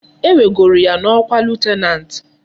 E wegoro ya na okwa lieutenant